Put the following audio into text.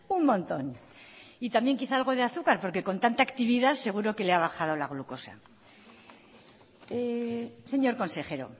un montón y también quizás algo de azúcar porque con tanta actividad seguro que le ha bajado la glucosa señor consejero